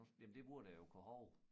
Nu jamen det burde jeg jo kunne hove